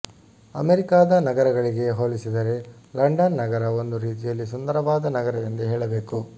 ಅಮೆರಿಕಾದ ನಗರಗಳಿಗೆ ಹೋಲಿಸಿದರೆ ಲಂಡನ್ ನಗರ ಒಂದು ರೀತಿಯಲ್ಲಿ ಸುಂದರವಾದ ನಗರವೆಂದೇ ಹೇಳಬೇಕು